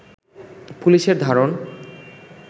পুলিশের ধারণ